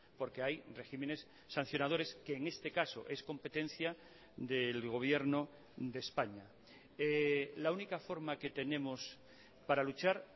porque hay regímenes sancionadores que en este caso es competencia del gobierno de españa la única forma que tenemos para luchar